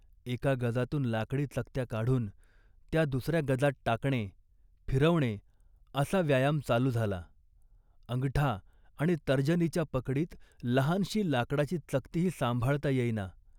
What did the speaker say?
एका गजातून लाकडी चकत्या काढून त्या दुसऱ्या गजात टाकणे, फिरवणे असा व्यायाम चालू झाला. अंगठा आणि तर्जनीच्या पकडीत लहानशी लाकडाची चकतीही सांभाळता येईना